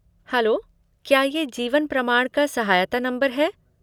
Hello, क्या ये जीवन प्रमाण का सहायता नंबर है?